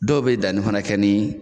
Dɔw bɛ danni fana kɛ ni